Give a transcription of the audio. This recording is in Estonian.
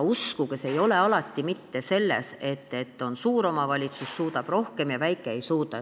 Uskuge, asi ei ole alati mitte nii, et suur omavalitsus suudab rohkem ja väike ei suuda.